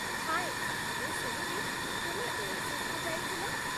ହାଏ, ମୁଁ ଶୁଣିଲି ତୁମେ ଓଏସିସ୍‌କୁ ଯାଇଥିଲ